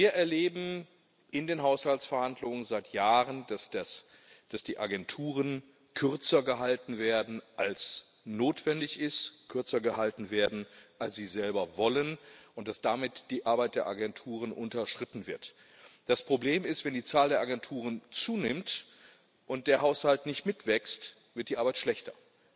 Wir erleben in den Haushaltsverhandlungen seit Jahren, dass die Agenturen kürzer gehalten werden, als notwendig ist, kürzer gehalten werden, als sie selber wollen, und dass damit die Arbeit der Agenturen unterschritten wird. Das Problem ist, wenn die Zahl der Agenturen zunimmt und der Haushalt nicht mitwächst, wird die Arbeit schlechter.